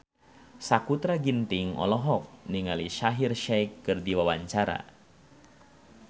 Sakutra Ginting olohok ningali Shaheer Sheikh keur diwawancara